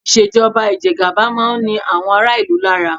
Ìṣèjọba ìjẹgaba máa ń ni àwọn ará-ìlú lára.